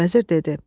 Vəzir dedi.